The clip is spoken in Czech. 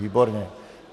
Výborně.